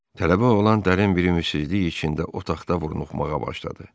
Tələbə oğlan dərin bir ümidsizlik içində otaqda vurnuxmağa başladı.